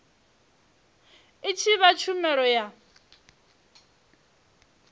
i tshi fha tshumelo ya